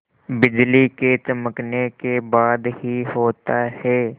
बिजली के चमकने के बाद ही होता है